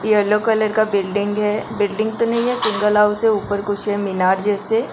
yellow colour का building है building तो नहीं है सिंगल हाउस है ऊपर कुछ है मीनार जैसे --